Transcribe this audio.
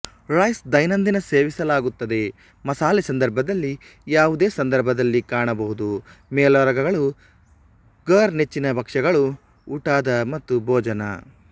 rice ದೈನಂದಿನ ಸೇವಿಸಲಾಗುತ್ತದೆ ಮಸಾಲೆ ಸಂದರ್ಭದಲ್ಲಿ ಯಾವುದೇ ಸಂದರ್ಭದಲ್ಲಿ ಕಾಣಬಹುದು ಮೇಲೋಗರಗಳು ಫಾರ್ ನೆಚ್ಚಿನ ಭಕ್ಷ್ಯಗಳು ಊಟದ ಮತ್ತು ಭೋಜನ